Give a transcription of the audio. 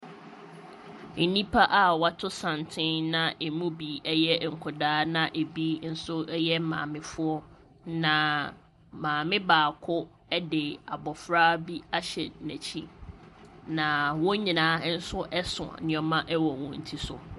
Nnipa a wɔato santene na emu bi yɛ nkwadaa na ɛbi nso yɛ maamefoɔ, na maame baako de abɔfra bi ahyɛ n'akyi, na wɔn nyinaa nso so nneɛma wɔ wɔn ti so.